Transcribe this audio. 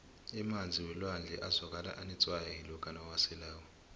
emanzi welwandle azwakala anetswayi lokha uwaselako